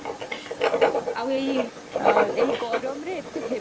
ଆଉ ଏଇ ଗରମରେ ଏତେ heavy